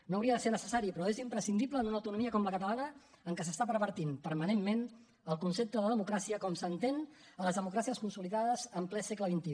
no hauria de ser necessari però és imprescindible en una autonomia com la catalana en què s’està pervertint permanentment el concepte de democràcia com s’entén a les democràcies consolidades en ple segle xxi